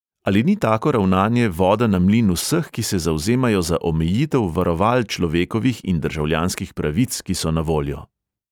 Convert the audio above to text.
Ali ni tako ravnanje voda na mlin vseh, ki se zavzemajo za omejitev varoval človekovih in državljanskih pravic, ki so na voljo?